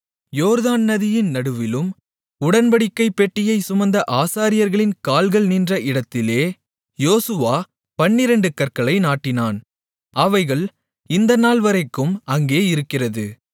யோர்தான் நதியின் நடுவிலும் உடன்படிக்கைப் பெட்டியைச் சுமந்த ஆசாரியர்களின் கால்கள் நின்ற இடத்திலே யோசுவா பன்னிரண்டு கற்களை நாட்டினான் அவைகள் இந்த நாள்வரைக்கும் அங்கே இருக்கிறது